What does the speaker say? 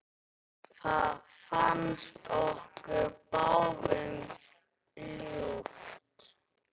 Það fannst okkur báðum ljúft.